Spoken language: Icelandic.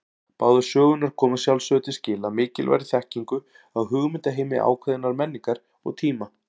Báðar sögurnar koma að sjálfsögðu til skila mikilvægri þekkingu á hugmyndaheimi ákveðinnar menningar og tíma.